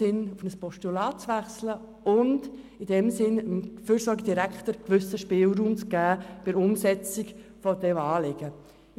Deshalb bin ich bereit, in ein Postulat zu wandeln und in diesem Sinne dem Gesundheits- und Fürsorgedirektor einen gewissen Spielraum bei der Umsetzung dieses Anliegens zu gewähren.